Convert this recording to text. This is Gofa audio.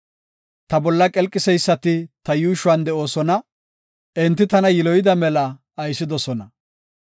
Ta bolla qelqiseysati ta yuushuwan de7oosona; enti tana yiloyida mela aysidosona.